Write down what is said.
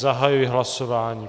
Zahajuji hlasování.